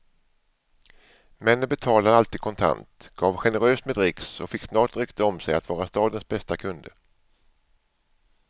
Männen betalade alltid kontant, gav generöst med dricks och fick snart rykte om sig att vara stadens bästa kunder.